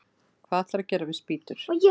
Hvað ætlarðu að gera við spýtur?